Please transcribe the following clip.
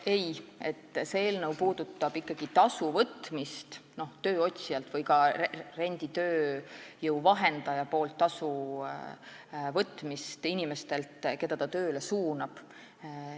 Ei, see eelnõu puudutab ikkagi tasu võtmist tööotsijalt või ka renditööjõu vahendaja tasu inimestelt, keda ta tööle suunab.